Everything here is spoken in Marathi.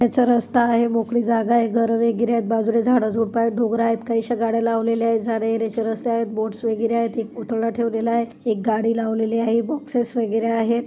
रस्ता आहे मोकळी जागा आहे. घर वगैरे आहेत. बाजूला झाडझुडंप डोंगर आहेत. काहीश्या गाड्या लावलेले आहेत. जाण्यायेण्याची रस्ते आहेत. बोट्स वगैरे आहेत. एक पुतळा ठेवलेला आहे. एक गाडी लावलेली आहे. बॉक्सेस वगैरे आहेत.